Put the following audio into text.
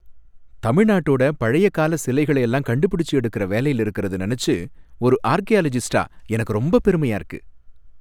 தமிழ்நாட்டோட பழைய கால சிலைகள எல்லாம் கண்டுபிடிச்சு எடுக்கற வேலையில இருக்குறத நினைச்சு ஒரு ஆர்க்கியாலாஜிஸ்டா எனக்கு ரொம்பப் பெருமையா இருக்கு .